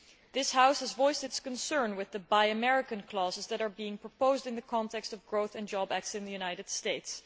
This House has voiced its concern with the Buy American' clauses that are being proposed in the context of growth and job acts in the United States.